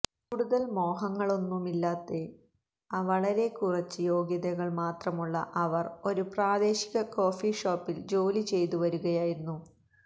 കൂടുതൽ മോഹങ്ങളൊന്നുമില്ലാത്ത വളരെക്കുറച്ച് യോഗ്യതകൾ മാത്രമുള്ള അവർ ഒരു പ്രാദേശിക കോഫി ഷോപ്പിൽ ജോലി ചെയ്തുവരുകയായിരുന്നു